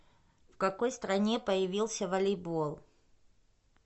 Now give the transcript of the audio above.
в какой стране появился волейбол